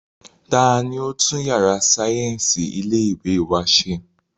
Ta ni ó tún yàrá sáyẹ́ǹsì ilé ìwé wa ṣe?